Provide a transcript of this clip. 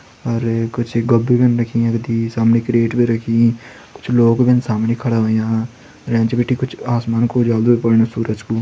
अर कुछ गोब्बी भीन रखीन यकदी सामनि क्रैट भी रखीं कुछ लोग भीन सामणी खड़ा होंया अर एंच बिटिन कुछ आसमान कू उजालु भी पण सूरज कू।